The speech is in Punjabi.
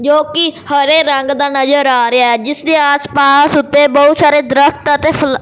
ਜੋ ਕਿ ਹਰੇ ਰੰਗ ਦਾ ਨਜ਼ਰ ਆ ਰਿਹੈ ਜਿਸ ਦੇ ਆਸ ਪਾਸ ਉੱਤੇ ਬਹੁਤ ਸਾਰੇ ਦਰਖਤ ਅਤੇ ਫਲਾ --